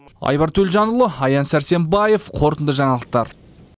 айбар төлжанұлы аян сәрсенбаев қорытынды жаңалықтар